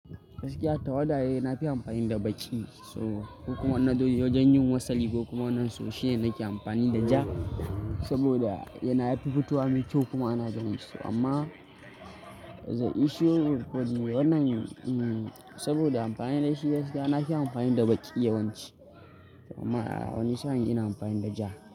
Gaskiya tawada dai nafi amfani da baƙi. Ko kuma wajen yin wasali ko kuma wannan soshi ne nake amfani da ja saboda yana yafi fitowa mekyau kuma ana ganin shi. Amma the issue with body wannan, saboda amfani da shi yafi, nafi amfani da baƙi yawanci. Amma wani sa'in ina amfani da ja.